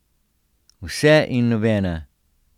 Vse in nobena!